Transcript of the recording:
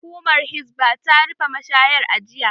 Hukumar Hisbah ta rufe mashayar a jiya